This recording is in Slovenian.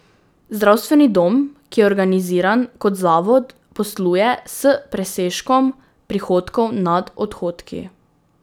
Zdravstveni dom, ki je organiziran kot zavod, posluje s presežkom prihodkov nad odhodki.